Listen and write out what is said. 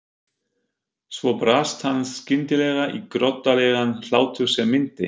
Svo brast hann skyndilega í groddalegan hlátur sem minnti